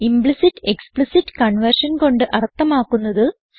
implicit explicit conversion കൊണ്ട് അർത്ഥമാക്കുന്നത്